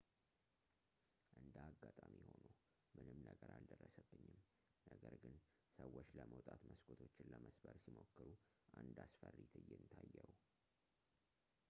እንደ አጋጣሚ ሆኖ ምንም ነገር አልደረሰብኝም ነገር ግን ሰዎች ለመውጣት መስኮቶችን ለመስበር ሲሞክሩ አንድ አስፈሪ ትዕይንት አየሁ